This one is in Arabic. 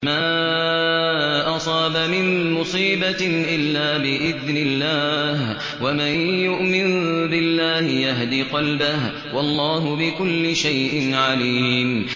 مَا أَصَابَ مِن مُّصِيبَةٍ إِلَّا بِإِذْنِ اللَّهِ ۗ وَمَن يُؤْمِن بِاللَّهِ يَهْدِ قَلْبَهُ ۚ وَاللَّهُ بِكُلِّ شَيْءٍ عَلِيمٌ